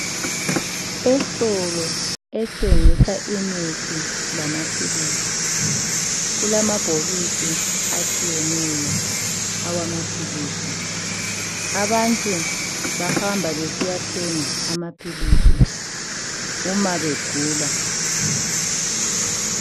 Estolo esthengisa imithi lamaphilizi kulamabhokisi atshiyeneyo awamaphilizi, abantu bahamba besiyathenga amaphilisi uma begula.